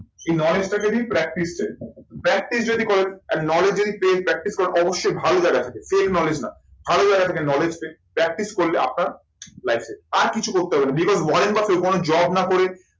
এই knowledge টা যদি practice practice যদি করেন আর knowledge যদি paid করেন অবশ্যই ভালো জায়গা থেকে paid knowledge না ভালো জায়গা থেকে knowledge পেয়ে practice করলে আপনার life এ আর কিছু করতে হবে না because job না করে